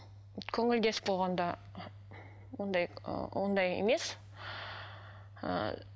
көңілдес болғанда ондай ыыы ондай емес ыыы